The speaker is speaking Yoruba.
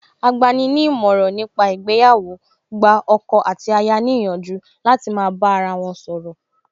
Agbani ní ìmọ̀ràn ní pa ìgbéyàwó gba ọkọ àti aya ní ìyànjú láti máa bá ara wọn sọ̀rọ̀